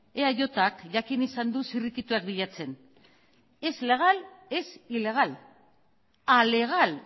eajk jakin izan du zirrikituak bilatzen ez legal ez ilegal alegal